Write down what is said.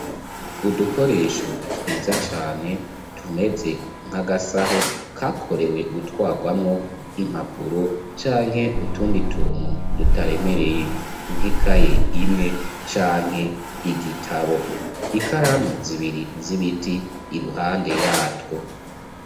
Udukoresho twiza cane tumeze nk'agasaho kakorewe gutwarwamwo impapuro canke utundi tuntu dutaremereye nkekaye imwe canke igitabo ikaramu zibiri z'ibiti i ruhande yatwo.